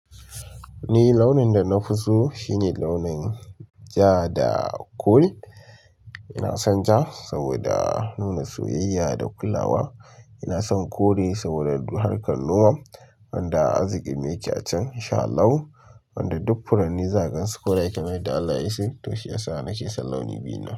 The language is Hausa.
Ni launin da na fi so shine launin ja da kore. Ina son ja saboda nuna soyayya da kulawa. Ina son kore saboda harkar noma wanda azumi yake a can. Insha Allahu wanda duk furanni zagansu kore kenan da Allah ya yi shi. To shiyasa nake son launi biyun ne.